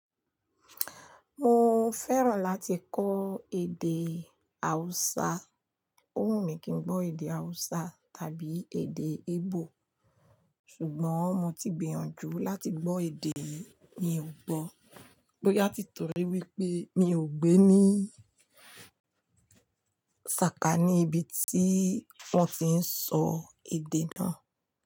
Mo fẹ́ràn láti kọ́ èdè Hausa. Òhun mi kí n gbọ́ èdè Hausa tàbí èdè Igbo ṣùgbọ́n mo ti gbìyànjú láti gbọ́ èdè yìí mi ò gbọ́. Bóyá tí torí wípé mi ò gbé ní sàkání ibi tí wọ́n ti ń sọ èdè náà.